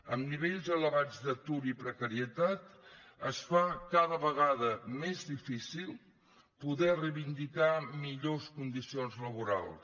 amb nivells elevats d’atur i precarietat es fa cada vegada més difícil poder reivindicar millors condicions laborals